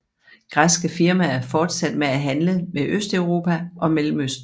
Græske firmaer fortsatte med at handle med Østeuropa og Mellemøsten